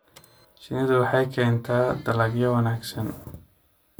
Shinnidu waxay keentaa dalagyo wanaagsan.